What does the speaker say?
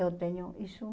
Eu tenho isso.